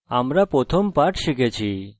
আমরা আমাদের প্রথম typing পাঠ শিখেছি